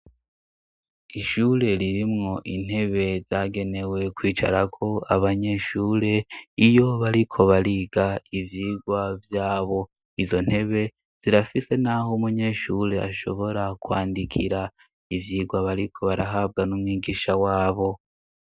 Ishure ririmwo intebe zagenewe kwicarako abanyeshure iyo bariko bariga ivyigwa vyabo, izo ntebe zirafise naho umunyeshure ashobora kwandikira ivyigwa bariko barahabwa n'umwigisha wabo.